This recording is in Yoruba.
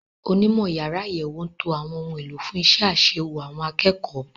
Onímọ̀ yàrá àyẹ̀wò ń to àwọn ohun èlò fún iṣẹ́ àṣewò àwọn akẹ́kọ̀ọ́.